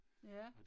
Ja